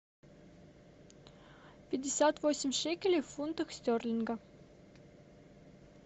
пятьдесят восемь шекелей в фунтах стерлингов